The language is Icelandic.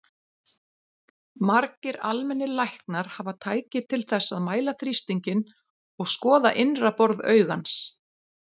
Margir almennir læknar hafa tæki til þess að mæla þrýstinginn og skoða innra borð augans.